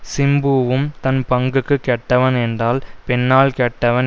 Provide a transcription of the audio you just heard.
சிம்புவும் தன் பங்குக்கு கெட்டவன் என்றால் பெண்ணால் கெட்டவன்